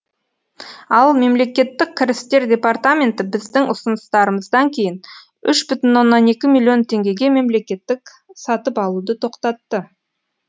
ал мемлекеттік кірістер департаменті біздің ұсыныстарымыздан кейін үш бүтін оннан екі миллион теңгеге мемлекеттік сатып алуды тоқтатты